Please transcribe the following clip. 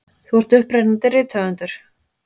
Þú ert upprennandi rithöfundur.